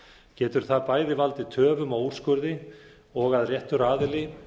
getur það bæði valdið töfum á úrskurði og að réttur aðili